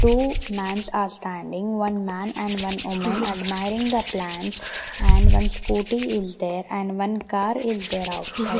two mans are standing one man and one woman admiring the plants and one scooty is there and one car is there outside.